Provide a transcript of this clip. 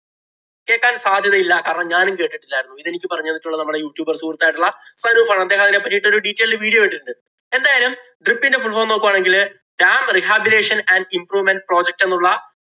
കേക്കാന്‍ സാധ്യതയില്ല. കാരണം, ഞാനും കേട്ടിട്ടില്ലായിരുന്നു. ഇതെനിക്ക് പറഞ്ഞു തന്നിട്ടുള്ളത് നമ്മുടെ യൂട്യുബര്‍ സുഹൃത്ത് ആയിട്ടുള്ള ഫരൂബ് ആണ്. അദ്ദേഹം അതിനെ പറ്റിയിട്ടുള്ള detailed video ഇട്ടിട്ടുണ്ട്. എന്തായാലും DRIP ഇന്‍റെ fullform നോക്കുകയാണെങ്കില് Dam Rehabilation and Improvement Project എന്നുള്ള